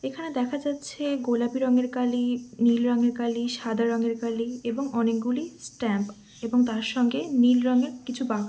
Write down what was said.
এখানে দেখা যাছে গোলাপি রঙের কালি নীল রঙের কালি সাদা রঙের কালি এবং অনেকগুলি স্ট্যাম্প এবং তার সঙ্গে নীল রঙের কিছু বাক্স।